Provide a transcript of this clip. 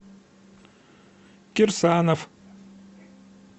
кирсанов